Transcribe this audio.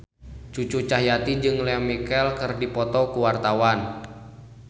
Cucu Cahyati jeung Lea Michele keur dipoto ku wartawan